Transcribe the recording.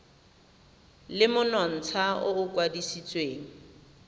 le monontsha o o kwadisitsweng